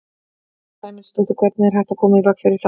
Sunna Sæmundsdóttir: Hvernig er hægt að koma í veg fyrir það?